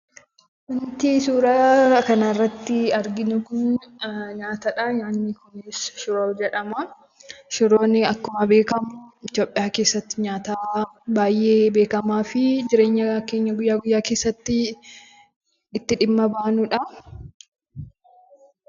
Wanti suuraa kanarratti arginu kun nyaatadha. Nyaanni kunis shiroo jedhama. Shiroon akkuma beekamu Itoopiyaa keessatti nyaata baayyee beekamaafi jireenya keenya guyyaa guyyaa keessatti, itti dhimma baanudha.